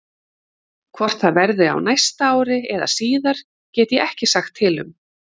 Hvort það verði á næsta ári eða síðar get ég ekki sagt til um.